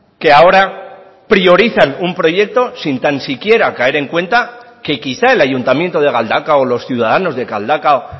que ahora priorizan un proyecto sin tan siquiera caer en cuenta que quizá el ayuntamiento de galdakao o los ciudadanos de galdakao